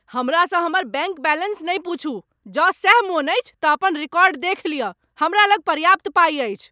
हमरासँ हमर bank balance नहि पूछू। जँ सैह मन अछि तँ अपन रिकॉर्ड देखि लियऽ। हमरा लग पर्याप्त पाइ अछि।